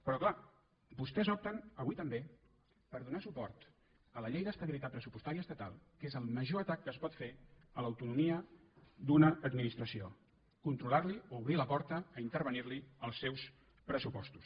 però clar vostès opten avui també per donar suport a la llei d’estabilitat pressupostària estatal que és el major atac que es pot fer a l’autonomia d’una administració controlarli o obrir la porta a intervenir els seus pressupostos